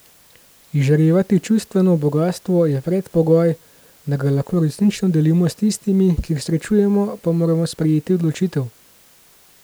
Izžarevati čustveno bogastvo je predpogoj, da ga lahko resnično delimo s tistimi, ki jih srečujemo, pa moramo sprejeti odločitev.